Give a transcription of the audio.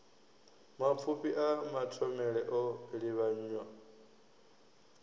mapfufhi a mathomele o livhanywa